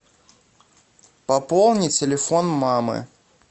пополни телефон мамы